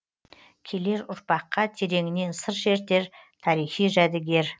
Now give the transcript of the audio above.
келер ұрпаққа тереңінен сыр шертер тарихи жәдігер